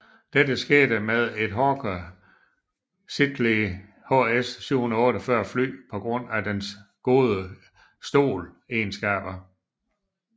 Dette skete med et Hawker Siddeley HS 748 fly på grund af dets gode STOL egenskaber